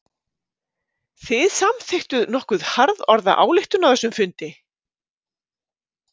Þið samþykktuð nokkuð harðorða ályktun á þessum fundi?